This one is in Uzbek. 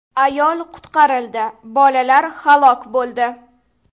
Ayol qutqarildi, bolalar halok bo‘ldi.